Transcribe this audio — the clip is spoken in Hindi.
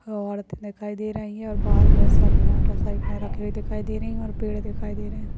औरत दिखाई दे रही है। और बाहार बहुत सारे मोटरसाइकिल रखे हुए दिखाई दे रही है। और पेड़ दिखाई दे रहे हैं ।